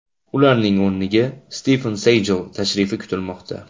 Ularning o‘rniga Stiven Sigal tashrifi kutilmoqda.